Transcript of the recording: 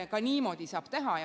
Ka niimoodi saab teha.